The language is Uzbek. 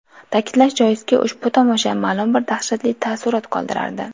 Ta’kidlash joizki, ushbu tomosha ma’lum bir dahshatli taassurot qoldirardi.